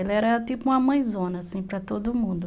Ela era tipo uma mãezona assim para todo mundo.